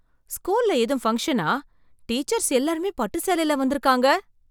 ஸ்கூல்ல ஏதும் பங்க்ஷனா? டீச்சர்ஸ் எல்லாருமே பட்டு சேலைல வந்திருக்காங்க.